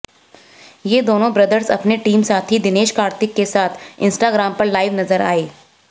ये दोनों ब्रदर्स अपने टीम साथी दिनेश कार्तिक के साथ इंस्टाग्राम पर लाइव नजर आए